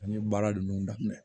An ye baara ninnu daminɛ